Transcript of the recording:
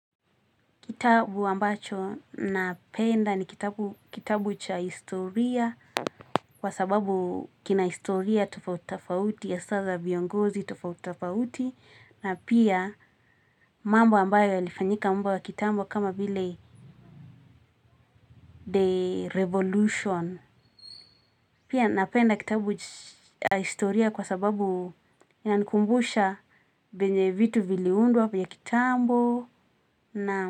Kitabu ambacho napenda ni kitabu cha historia kwa sababu kina historia tofautitofauti hasa za viongozi tofautitofauti na pia mambo ambayo yalifanyika mambo ya kitambo kama vile The Revolution. Pia napenda kitabu cha historia kwa sababu inanikumbusha vyenye vitu viliundwa vya kitambo na.